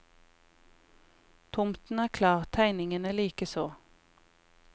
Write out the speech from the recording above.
Tomten er klar, tegningene likeså.